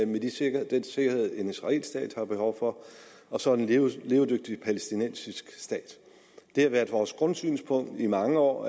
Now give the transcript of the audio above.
med den sikkerhed sikkerhed en israelsk stat har behov for og så en levedygtig palæstinensisk stat det har været vores grundsynspunkt i mange år